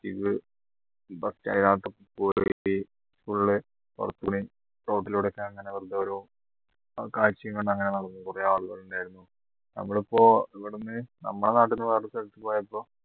full road ലൂടെ ഞാൻ ഇങ്ങനെ വെറുതെ ഓരോ കാഴ്ചയും കണ്ടു അങ്ങനെ നടന്നു കുറെ ആളുകൾ ഉണ്ടായിരുന്നു നമ്മൾ ഇപ്പോ ഇവിടുന്ന് നമ്മളെ നാട്ടിൽ നിന്ന് വേറെ സ്ഥലത്ത് പോയപ്പോ